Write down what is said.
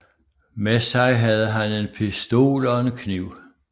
Med sig havde han en pistol og en kniv